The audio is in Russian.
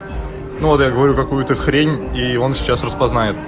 ну я говорю какую-то хрень и он сейчас распознает